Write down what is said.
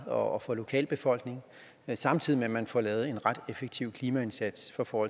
og for lokalbefolkningen samtidig med at man får lavet en ret effektiv klimaindsats for